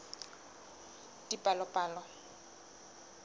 dipalopalo